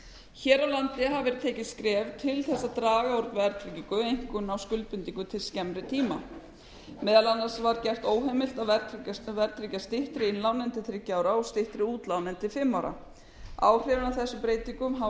hér á landi hafa verið tekin skref til þess að draga úr verðtryggingu einkum á skuldbindingum til skemmri tíma meðal annars var gert óheimilt að verðtryggja styttri innlán en til þriggja ára og styttri útlána en til fimm ára áhrifin af þessum breytingum